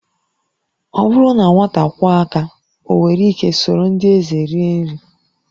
Ọ bụrụ na nwata kwọọ aka, o nwere ike soro ndị eze rie nri